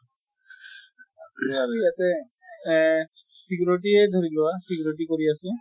আছে আৰু ইয়াতে। এহ security য়ে ধৰি লোৱা, security কৰি আছে।